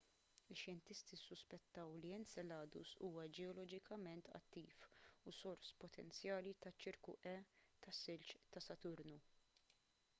ix-xjentisti ssuspettaw li enceladus huwa ġeoloġikament attiv u sors potenzjali taċ-ċirku e tas-silġ ta' saturnu